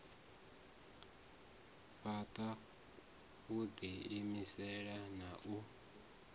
fhaṱa u ḓiimisa na u